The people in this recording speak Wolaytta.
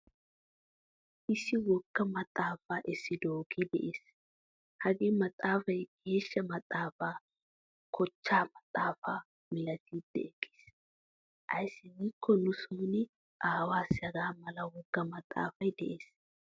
Issi wogga maxaafaa essidoge de'ees. Hagee maxxafaay geeshshaa maxaafaa kochcha maxaafaa milattidi ekkees. Ayssi gikko nu sooni aawasi hagaamala wogga maxxafaay de'ees.